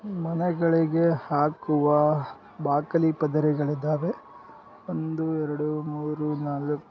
ಮನೆಗಳಿಗೆ ಹಾಕುವ ಬಾಕಲಿ ಪದರೆಗಳು ಇದವೆ ಒಂದು ಎರೆಡು ಮೂರು ನಾಲ್ --